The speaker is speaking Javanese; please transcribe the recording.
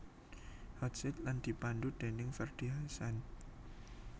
Hot Seat lan dipandhu déning Ferdy Hassan